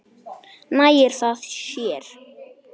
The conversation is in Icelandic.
Nægir það þér?